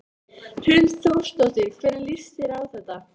Hrund Þórsdóttir: Hvernig líst þér á þetta?